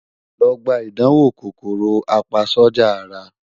Lọ gba idanwo KòkòròApaSójà Ara